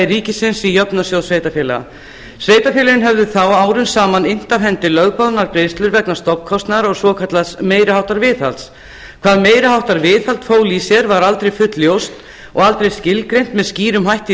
ríkisins í jöfnunarsjóð sveitarfélaga sveitarfélögin höfðu þá árum saman innt af hendi lögboðnar greiðslur vegna stofnkostnaðar og svokallaðs meiri háttar viðhalds hvað meiri háttar viðhald fól í sér var aldrei fullljóst og aldrei skilgreint með skýrum hætti í